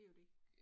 Det jo det